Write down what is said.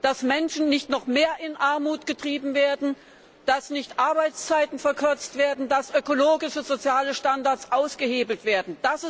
dass Menschen nicht noch mehr in Armut getrieben werden, dass Arbeitszeiten nicht verlängert werden, dass ökologische und soziale Standards nicht ausgehebelt werden.